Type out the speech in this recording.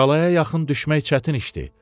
Qalaya yaxın düşmək çətin işdi.